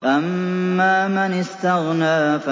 أَمَّا مَنِ اسْتَغْنَىٰ